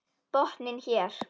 Botninn er hér!